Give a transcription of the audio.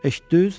Eşitdiniz?